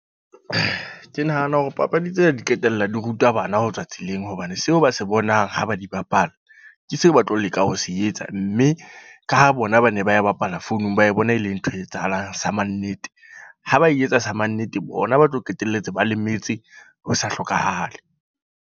Ke nahana hore papadi tsena di qetella di ruta bana ho tswa tseleng. Hobane, seo ba se bonang ha ba di bapala. Ke seo ba tlo leka ho se etsa. Mme ka ho bona ba ne ba bapala founung ba e bona e leng ntho e etsahalang sa mannete. Ha ba etsa sa mannete, bona ba tlo qetelletse ba lemetse ho sa hlokahale.